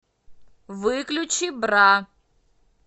выключи бра